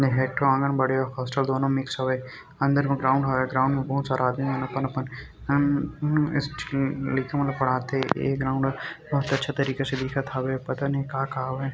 एह एक ठो आंगनबाड़ी अउ हॉस्टल दोनों मिक्स हावे अंदर मे ग्राउंड हावे ग्राउंड में बहुत सारा आदमी मन अपन-अपन अ स्टू- लइका मन ला पड़हाथे ये ग्राउंड ह बहुत अच्छा तरीका से दिखत हावे पता नहीं का का हावे।